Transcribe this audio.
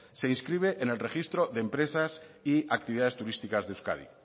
se inscribe en el registro de empresas y actividades turísticas de euskadi